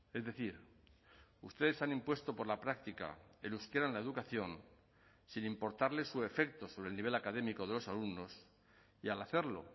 es decir ustedes han impuesto por la práctica el euskera en la educación sin importarle su efecto sobre el nivel académico de los alumnos y al hacerlo